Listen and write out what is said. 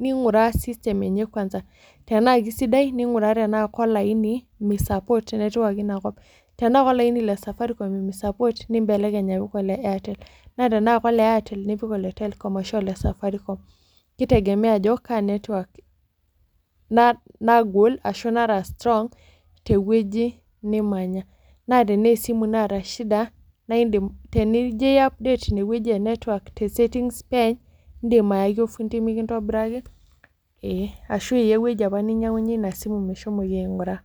ninguraa system enye kwanza. Tenaa kesidai ninguraa tenaa kelaini mi support network inakop. Tenaa kelaini le safaricom mi support nimbelekeny apik ele Airtel, naa tenaa kole Airtel nipik ole telecom ashu ole safaricom. Kitegemea ajo kaa network nagol ashu nara strong tewoji nimanya. naa tenaa kesimu naata shida, naa iindim tenijo ai update ine woji e network tewoji e settings pee eeny niidim aaki ofundii mikintobiraki ashu iya ewoji apa ninyiangunyie Ina simu meshomoi ainguraa.